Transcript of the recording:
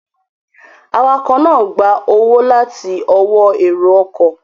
Awakọ̀ náà gba owó láti ọwọ́ èrò ọkọ̀